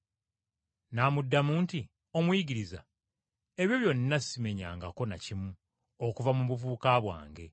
N’amuddamu nti, “Omuyigiriza, ebyo byonna simenyangako na kimu okuva mu buvubuka bwange.”